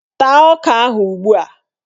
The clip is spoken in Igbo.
Taa ọka ahụ ugbua!